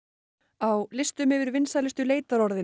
á listum yfir vinsælustu leitarorðin